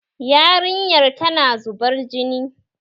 Yarinyar tana zubar jini